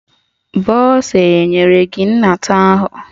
Bọsa enyere gị nnata ahụ?